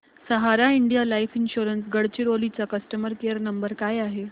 सहारा India life insurance Gadchiroli चा customer care number काय आहे